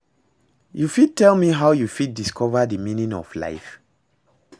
You fit tell me how you fit discover di meaning of life?